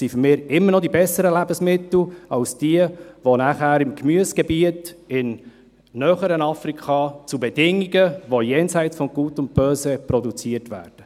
Es sind für mich immer noch die besseren Lebensmittel als jene, welche im Gemüsegebiet im näheren Afrika, zu Bedingungen, welche jenseits von Gut und Böse sind, produziert werden.